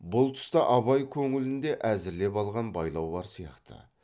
бұл тұста абай көңілінде әзірлеп алған байлау бар сияқты